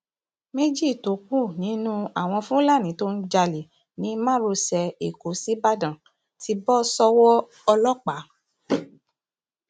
méjì tó kù nínú àwọn fúlàní tó ń jalè ní márosẹ ẹkọ ṣíbàdàn ti bọ sọwọ ọlọpàá